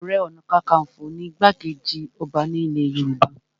Ààrẹ ọ̀nàkakafo ni igbá-kejì ọba ní ilẹ̀ Yorùbá